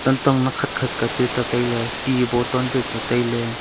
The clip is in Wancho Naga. tantong nak khatkhat ka chu tetailey ti bottle chu tetailey.